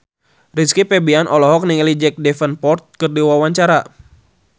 Rizky Febian olohok ningali Jack Davenport keur diwawancara